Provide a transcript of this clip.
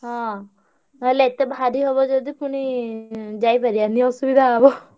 ହଁ ନହେଲେ ଏତେ ଭାରି ହବ ଯଦି ପୁଣି ଯାଇପାରିଆନି ଅସୁବିଧା ହବ।